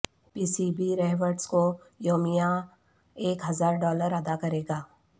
پی C B Rhodes کو یومیہ ایک ہزار ڈالر ادا کرے گا